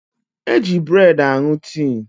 Eji breedi aṅụ tii